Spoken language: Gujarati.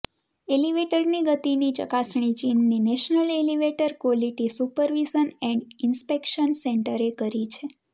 એલિવેટરની ગતિની ચકાસણી ચીનની national elevator quality supervision and inspection સેન્ટરે કરી છે